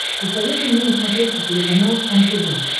посоветуй мне на смотрешке телеканал кхлм тв